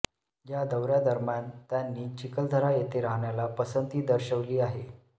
या दौऱ्या दरम्यान त्यांनी चिखलदरा येथे राहण्याला पसंती दर्शवली आहे